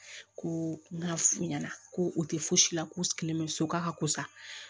Ko n ka fu ɲɛna ko u tɛ fosi k'u sigilen bɛ so k'a ka ko sa